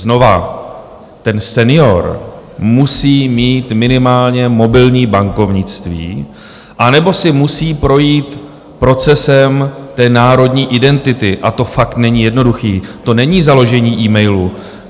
Znova: ten senior musí mít minimálně mobilní bankovnictví anebo si musí projít procesem národní identity, a to fakt není jednoduché, to není založení e-mailu.